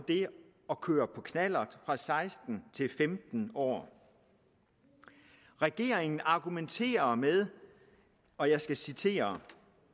at køre på knallert fra seksten år til femten år regeringen argumenterer med og jeg skal citere